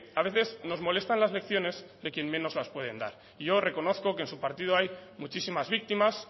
a veces nos molestan las lecciones de quien menos las pueden dar yo reconozco que en su partido hay muchísimas víctimas